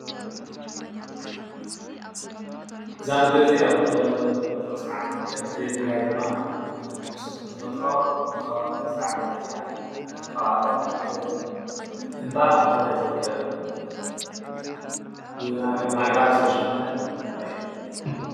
እዛ ምድሪ እዚአ ብተፈጥሮ ዝተዓደለት እያ፡፡ በተለይ ትግራይ ድማ ምስ ተፈጥሮ ብከባቢ ዝተዓደለት እያ፡፡ ከብኣቶም ሓደ እንባ ኣብ ትግራይ ዝርከብ ብኣግራብ ዝተሸፈነት እምባ እዩ፡፡